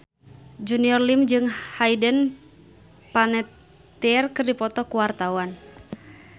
Junior Liem jeung Hayden Panettiere keur dipoto ku wartawan